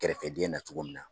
Kɛrɛfɛdɛn na cogo min na.